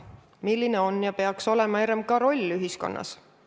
Milline on ja peaks olema RMK roll ühiskonnas?